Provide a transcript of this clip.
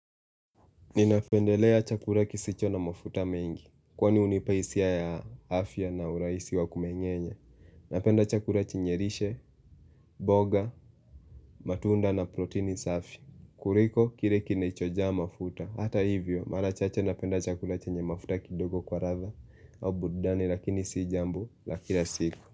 Ninapendelea chakula kisicho na mafuta mengi, kwani hunipa hisia ya afya na urahisi wa kumeng'enya. Napenda chakula chenye lishe, mboga, matunda na protini safi kuliko kile kinechojaa mafuta. Hata hivyo mara chache napenda chakula chenye mafuta kidogo kwa ladha. Burudani lakini si jambo la kila siku.